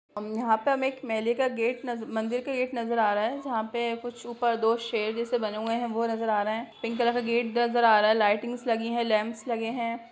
अम यहाँ पे हमें मेले का गेट नजर मंदिर का गेट नजर रहा है जहाँ पे कुछ ऊपर दो शेर जैसे बने हुए हैं वो नजर आ रहे है पिंक कलर गेट नजर आ रहा है लाइटिंग्स लगी है लैम्प्स लगे हैं।